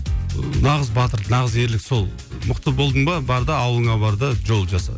ыыы нағыз батыр нағыз ерлік сол мықты болдың ба бар да ауылыңа бар да жол жаса